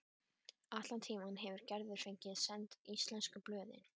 Allan tímann hefur Gerður fengið send íslensku blöðin.